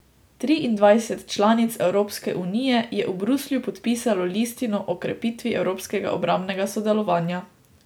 Triindvajset članic Evropske unije je v Bruslju podpisalo listino o krepitvi evropskega obrambnega sodelovanja.